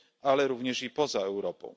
ale również i poza Europą.